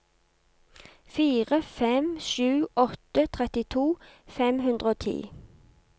fire fem sju åtte trettito fem hundre og ti